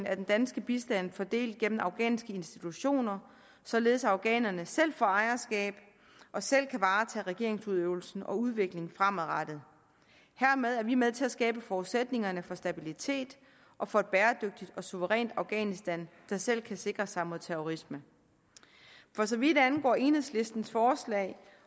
af den danske bistand fordelt gennem afghanske institutioner således at afghanerne selv får ejerskab og selv kan varetage regeringsudøvelsen og udviklingen fremadrettet hermed er vi med til at skabe forudsætningerne for stabilitet og for et bæredygtigt og suverænt afghanistan der selv kan sikre sig mod terrorisme for så vidt angår enhedslistens forslag